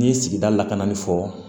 N'i ye sigida lakana fɔ